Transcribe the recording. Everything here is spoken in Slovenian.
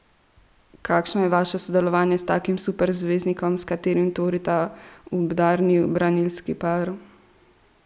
Kakšno je vaše sodelovanje s takim superzvezdnikom, s katerim tvorita udarni branilski par?